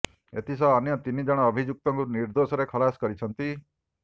ଏଥିସହ ଅନ୍ୟ ତିନି ଜଣ ଅଭିଯୁକ୍ତଙ୍କୁ ନିର୍ଦ୍ଦୋଷରେ ଖଲାସ କରିଛନ୍ତି